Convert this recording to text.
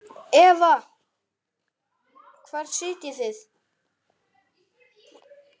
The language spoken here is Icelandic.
Eva: Hvar sitjið þið?